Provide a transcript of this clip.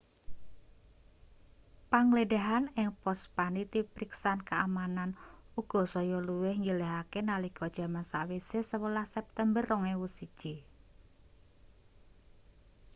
panggledhahan ing pos panitipriksan keamanan uga saya luwih njelehake nalika jaman sawise 11 september 2001